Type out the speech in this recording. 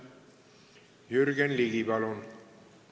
Jürgen Ligi, palun!